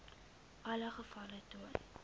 alle gevalle getoon